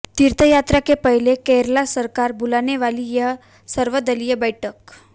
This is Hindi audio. तीर्थयात्रा के पहले केरल सरकार बुलाने वाली है सर्वदलीय बैठक